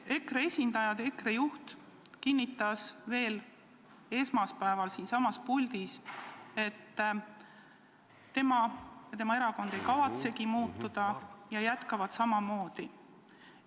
Ja EKRE juht kinnitas veel esmaspäeval siinsamas puldis, et tema ja tema erakond ei kavatsegi muutuda, nad jätkavad samamoodi.